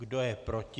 Kdo je proti?